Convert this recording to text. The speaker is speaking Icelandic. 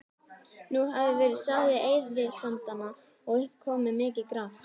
Nú hafði verið sáð í eyðisandana og upp komið mikið gras.